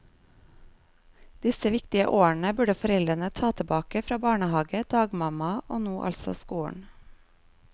Disse viktige årene burde foreldrene ta tilbake fra barnehage, dagmamma og nå altså skolen.